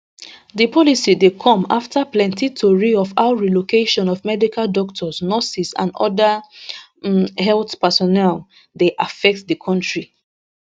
di policy dey come afta plenti tori of how relocation of medical doctors nurses and oda um health personnel dey affect di kontri